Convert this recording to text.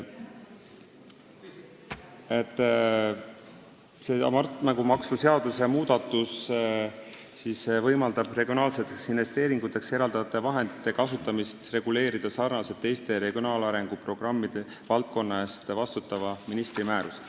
Hasartmängumaksu seaduse muudatus võimaldab regionaalseteks investeeringuteks eraldatavate vahendite kasutamist reguleerida sarnaselt teiste regionaalarengu programmide valdkonna eest vastutava ministri määrustega.